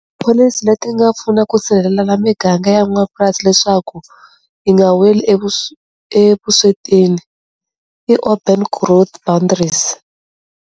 Policy leti nga pfuna ku sirhelela miganga ya n'wapurasi leswaku yi nga weli evuswetini i Open Growth Boundaries.